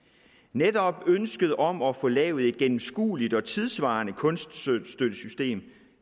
netop ønsket om at få lavet et gennemskueligt og tidssvarende kunststøttesystem